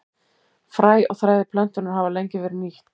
Fræ og þræðir plöntunnar hafa lengi verið nýtt.